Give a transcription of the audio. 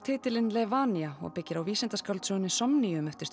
titilinn og byggir á vísindaskáldsögunni Somnium eftir